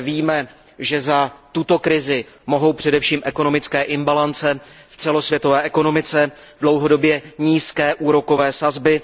víme, že za tuto krizi mohou především ekonomické imbalance v celosvětové ekonomice, dlouhodobě nízké úrokové sazby,